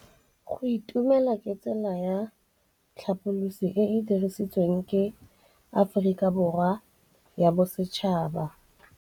Go itumela ke tsela ya tlhapolisô e e dirisitsweng ke Aforika Borwa ya Bosetšhaba.